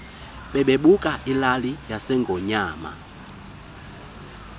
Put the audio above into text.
bebuka ilali yasengonyama